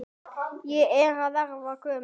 Ég er að verða gömul.